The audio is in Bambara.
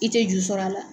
I tɛ juru sɔr'a la